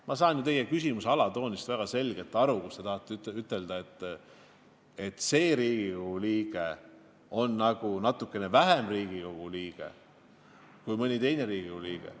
Ma saan ju teie küsimuse alatoonist väga selgelt aru, et te tahate ütelda, et mõni Riigikogu liige on nagu natuke vähem Riigikogu liige kui mõni teine Riigikogu liige.